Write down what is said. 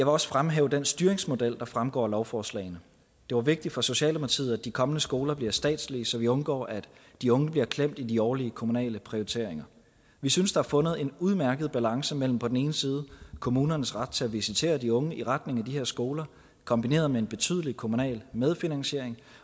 også fremhæve den styringsmodel der fremgår af lovforslagene det var vigtigt for socialdemokratiet at de kommende skoler bliver statslige så vi undgår at de unge bliver klemt i de årlige kommunale prioriteringer vi synes der er fundet en udmærket balance mellem på den ene side kommunernes ret til at visitere de unge i retning af de her skoler kombineret med en betydelig kommunal medfinansiering